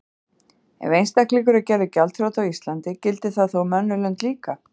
Ef einstaklingur er gerður gjaldþrota á Íslandi gildir það þá um önnur lönd líka?